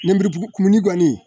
Lenbiriku kumuni kɔni